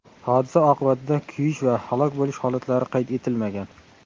Hodisa oqibatida kuyish va halok bo‘lish holatlari qayd etilmagan.